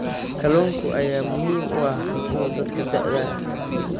Kalluunka ayaa muhiim u ah cuntada dadka da'da ah.